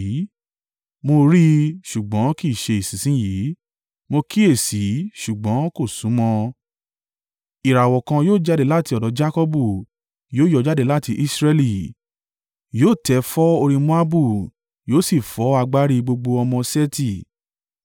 “Mo rí i, ṣùgbọ́n kì í ṣe ìsinsin yìí. Mo kíyèsi, ṣùgbọ́n kò súnmọ́. Ìràwọ̀ kan yóò jáde láti ọ̀dọ̀ Jakọbu; yóò yọ jáde láti Israẹli. Yóò tẹ̀ fọ́ orí Moabu, yóò sì fọ́ agbárí gbogbo ọmọ Seti.